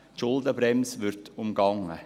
die Schuldenbremse wird umgangen.